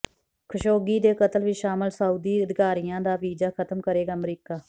Khashoggi ਦੇ ਕਤਲ ਵਿੱਚ ਸ਼ਾਮਲ ਸਾਊਦੀ ਅਧਿਕਾਰੀਆਂ ਦਾ ਵੀਜ਼ਾ ਖਤਮ ਕਰੇਗਾ ਅਮਰੀਕਾ